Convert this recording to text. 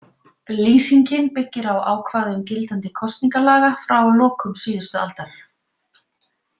Lýsingin byggir á ákvæðum gildandi kosningalaga frá lokum síðustu aldar.